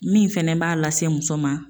Min fɛnɛ b'a lase muso ma.